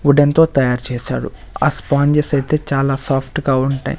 వుడెన్తో తయారు చేసారు ఆ స్పాంజెస్ అయితే చాలా సాఫ్ట్ గా ఉంటాయ్.